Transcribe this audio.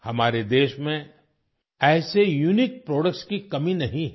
हमारे देश में ऐसे यूनिक प्रोडक्ट्स की कमी नहीं है